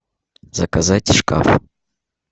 заказать шкаф